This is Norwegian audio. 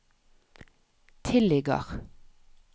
tilligger